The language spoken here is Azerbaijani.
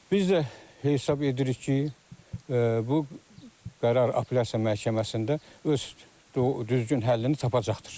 Biz də hesab edirik ki, bu qərar Apelyasiya Məhkəməsində öz düzgün həllini tapacaqdır.